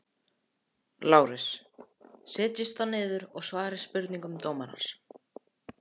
LÁRUS: Setjist þá niður og svarið spurningum dómarans.